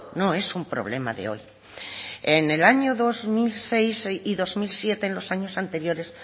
no es un problema de hoy en el año dos mil seis y dos mil siete en los años anteriores